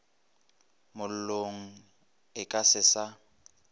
mollong e ka se sa